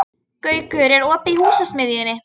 Gaukur, er opið í Húsasmiðjunni?